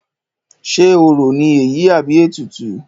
Ṣe orò ní èyí àbí ètùtù?